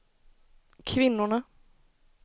kvinnorna